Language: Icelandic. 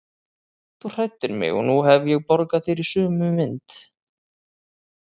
Þú hræddir mig og nú hef ég borgað þér í sömu mynt.